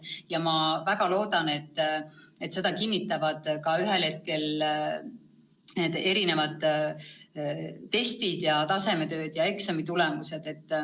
Ja ma väga loodan, et seda kinnitavad ühel hetkel ka need erinevad testid ja tasemetööd, samuti eksamitulemused.